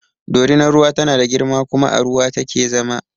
Dorinar ruwa tana da girma kuma a ruwa take zama